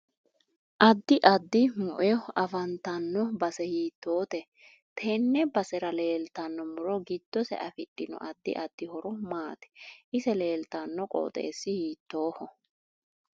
Addi addi mueo afantanno base hiitoote tenne basera leeltanno muro giddose afidhino addi addi horo maati ise leeltanno qoxeesi hiitooho